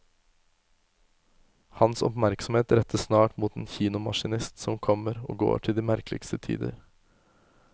Hans oppmerksomhet rettes snart mot en kinomaskinist som kommer og går til de merkeligste tider.